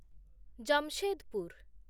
Jamshedpur